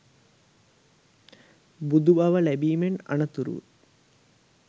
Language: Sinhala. බුදු බව ලැබීමෙන් අනතුරුව